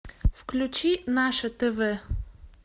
включи наше тв